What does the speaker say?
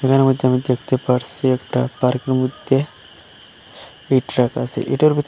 মধ্যে আমি দেখতে পারসি একটা পার্কের মধ্যে ইট রাখা আসে এটার ভিতর--